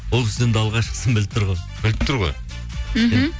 ол кісі енді алғашқысын біліп тұр ғой біліп тұр ғой мхм